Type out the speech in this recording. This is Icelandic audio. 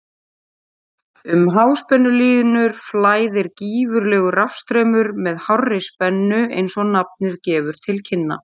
Um háspennulínur flæðir gífurlegur rafstraumur með hárri spennu eins og nafnið gefur til kynna.